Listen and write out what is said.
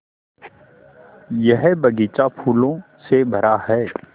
यह बग़ीचा फूलों से भरा है